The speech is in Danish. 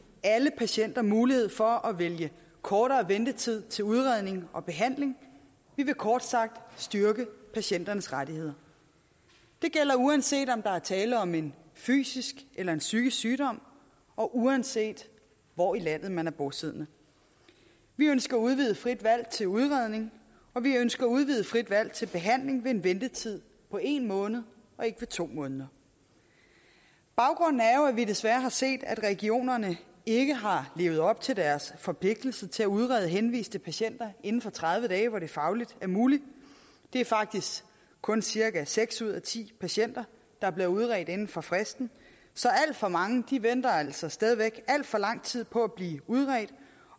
alle patienter mulighed for at vælge kortere ventetid til udredning og behandling vi vil kort sagt styrke patienternes rettigheder det gælder uanset om der er tale om en fysisk eller en psykisk sygdom og uanset hvor i landet man er bosiddende vi ønsker udvidet frit valg til udredning og vi ønsker udvidet frit valg til behandling ved en ventetid på en måned og ikke på to måneder baggrunden er jo at vi desværre har set at regionerne ikke har levet op til deres forpligtelser til at udrede henviste patienter inden for tredive dage hvor det fagligt er muligt det er faktisk kun cirka seks ud ti patienter der bliver udredt inden for fristen så alt for mange venter altså stadig væk alt for lang tid på at blive udredt